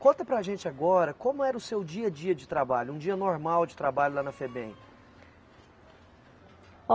Conta para a gente agora como era o seu dia a dia de trabalho, um dia normal de trabalho lá na Febem.